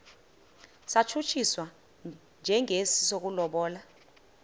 satshutshiswa njengesi sokulobola